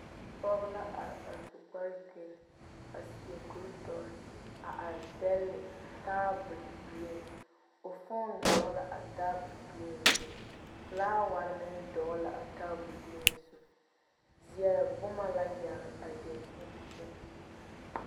Pɔge la are a su kpare gereni a seɛ kuri dɔre a are dɛle taabol dieŋ o foone dogli la a tabol die zu felaaware meŋ dogli la a tabol dieŋ zu zeɛre boma la yagelii a dakyini zu.